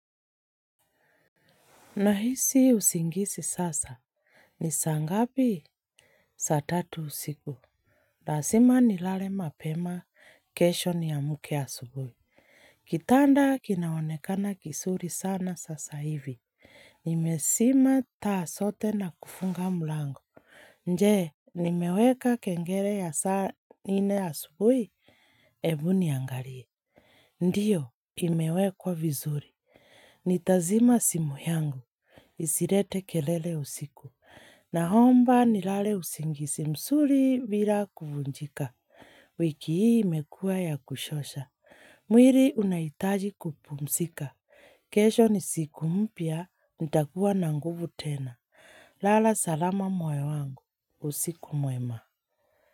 Nahisi usingisi sasa. Nisa ngapi? Saa tatu usiku. Lasima ni lale mapema kesho ni amuke asubui. Kitanda kinaonekana kisuri sana sasa hivi. Nimesima taa sote na kufunga mulango. Nje, nimeweka kengele ya saa ine ya subui, ebu niangalie. Ndiyo, imewekwa vizuri. Ni tazima simu yangu. Isirete kelele usiku. Na homba ni lale usingisi msuri vila kufunjika. Wiki hii imekua ya kushosha. Mwiri unaitaji kupumsika. Kesho ni siku mpia. Nitakuwa na nguvu tena. Lala salama moyo wangu. Usiku mwema.